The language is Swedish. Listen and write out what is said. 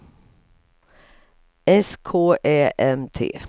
S K Ä M T